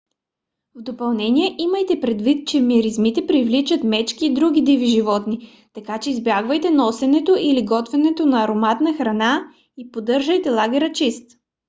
в допълнение имайте предвид че миризмите привличат мечки и други диви животни така че избягвайте носенето или готвенето на ароматна храна и поддържайте лагера чист